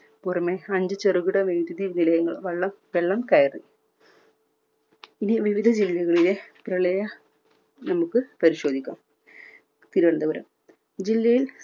പുറമെ അഞ്ചു ചെറുകിട വൈദ്യുതി നിലയങ്ങൾ വള്ളം വെള്ളം കയറി. ഇനി വിവിധ ജില്ലകളിലെ പ്രളയം നമുക്ക് പരിശോധിക്കാം. തിരുവനന്തപുരം